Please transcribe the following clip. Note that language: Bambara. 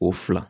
O fila